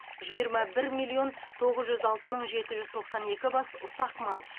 жиырма бір миллион тоғыз жүз алты мың жеті жүз тоқсан екі бас ұсақ мал